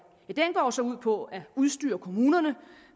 går jo så ud på at udstyre kommunerne